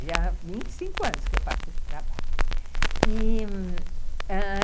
Já há vinte e cinco anos que eu faço esse trabalho, e, ãh...